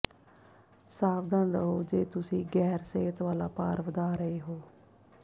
ਸਾਵਧਾਨ ਰਹੋ ਜੇ ਤੁਸੀਂ ਗੈਰ ਸਿਹਤ ਵਾਲਾ ਭਾਰ ਵਧਾ ਰਹੇ ਹੋ